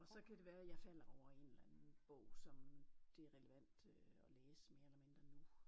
Og så kan det være jeg falder over en eller anden bog som det er relevant at læse mere eller mindre nu